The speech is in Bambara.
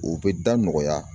O bɛ da nɔgɔya.